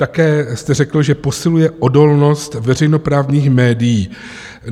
Také jste řekl, že posiluje odolnost veřejnoprávních médií.